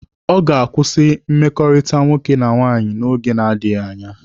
Ọ ga-akwụsị mmekọrịta nwoke na nwaanyị n'oge na-adịghi anya